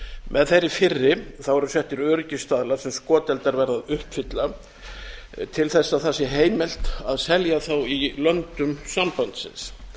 með þeirri fyrri eru settir öryggisstaðlar sem skoteldar verða að uppfylla til þess að það sé heimilt að selja þá í löndum sambandsins